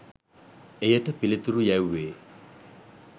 එයට පිළිතුරු යැව්වේ